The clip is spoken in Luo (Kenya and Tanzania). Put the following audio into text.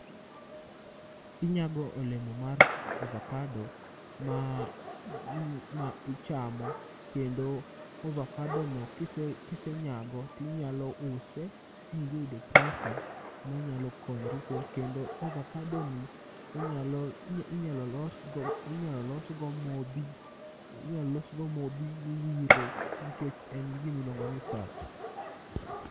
Inyago olemo mar ovakado ma gn ichamo kendo ovakadono kisenyago tinyalo use miyud pesa minyalo konyri go. Kendo ovakadoni inyalo losgo, inyalo losgo modhi miwiro nikech en gi gimiluongo ni fat.